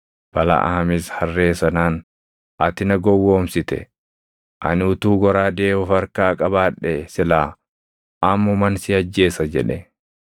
Balaʼaamis harree sanaan, “Ati na gowwoomsite; ani utuu goraadee of harkaa qabaadhee silaa ammuman si ajjeesa” jedhe.